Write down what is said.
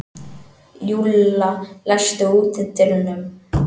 Júlla, læstu útidyrunum.